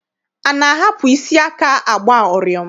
A na-ahapụ isi aka agba ụrịọm?